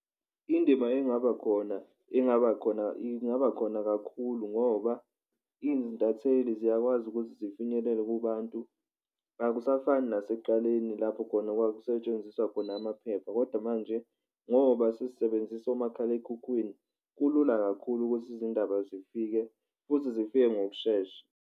Indima engaba khona ingaba khona ingaba khona kakhulu ngoba intatheli ziyakwazi ukuthi zifinyelele kubantu akusafani nasekuqaleni lapho khona okwakusetshenziswa khona amaphepha, kodwa manje ngoba sesisebenzisa umakhalekhukhwini kulula kakhulu ukuthi izindaba zifike futhi zifike ngokushesha.